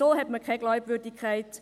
So hat man keine Glaubwürdigkeit.